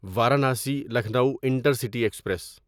Varanasi Lucknow intercity express